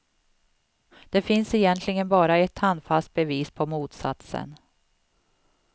Det finns egentligen bara ett handfast bevis på motsatsen.